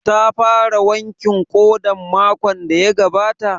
Ta fara wankin ƙodan makon da ya gabata?